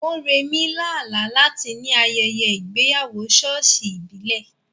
Moremi lá àlá láti ní ayẹyẹ ìgbéyàwó ṣọ́ọ̀ṣì ìbílẹ̀.